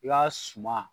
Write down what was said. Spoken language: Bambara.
I ka suma